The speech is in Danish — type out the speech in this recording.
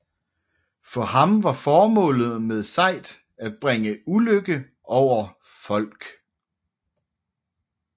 For ham var formålet med sejd at bringe ulykke over folk